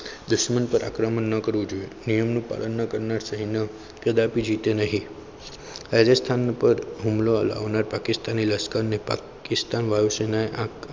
દુશ્મન પર આક્રમણ ના કરવું જોઈએ નિયમોનું પાલન ન કરનાર સેનાને કદાપી જીતે નહીં રાજસ્થાન ઉપર હુમલો કરનાર પાકિસ્તાન લશ્કરે પાકિસ્તાન વાયુસેનાએ